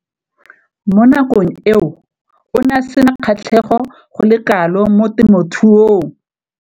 Mo nakong eo o ne a sena kgatlhego go le kalo mo temothuong.